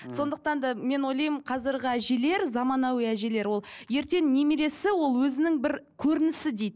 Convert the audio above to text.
мхм сондықтан да мен ойлаймын қазіргі әжелер заманауи әжелер ол ертең немересі ол өзінің бір көрінісі дейік